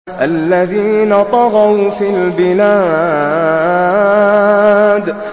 الَّذِينَ طَغَوْا فِي الْبِلَادِ